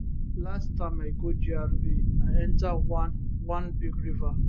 last time i go gra i enta one one big river